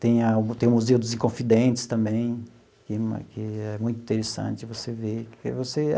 Tem a tem o Museu dos Inconfidentes também, que que é muito interessante você ver porque você.